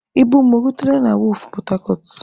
Ibu m o rutela na wọọfụ pọtacọt?